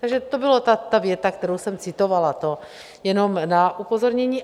Takže to byla ta věta, kterou jsem citovala, to jenom na upozornění.